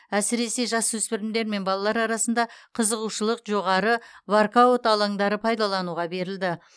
әсіресе жасөспірімдер мен балалар арасында қызығушылық жоғары воркаут алаңдары пайдалануға берілді